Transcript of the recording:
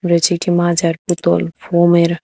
রয়েছে একটি মাজার বোতল ফোম এর--